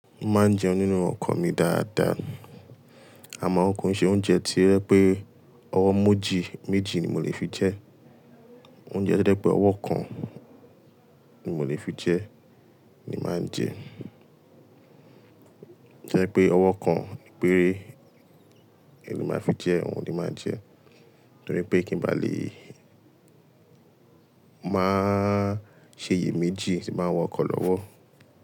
Máa ń jẹun nínú ọkọ̀ mi dáadáa, àmọ́ kọ̀ ń ṣe oúnjẹ tí jẹ́ pé ọwọ́ mojì méjì ni mo lè fi jẹ, oúnjẹ dẹ́ pé ọwọ́ kan ni mo lè fi jẹ ni máa ń jẹ. To jẹ́ pé ọwọ́ kan péré ni mo máa fi jẹ, òun ni máa ń jẹ. Nítorí pé kí n bá lè máa ṣe iye méjì ti máa ń wọkọ̀ lọ́wọ́.